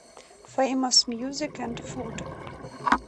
фэймос мьюзик энд фуд